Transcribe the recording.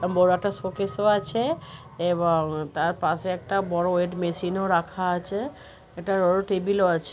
M বড় একটা showcase ও আছে । এবং তারপাশে একটা বড়ো ওয়েট মেশিন ও রাখা আছে ।একটি বড়ো টেবিল ও আছে।